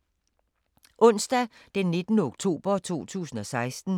Onsdag d. 19. oktober 2016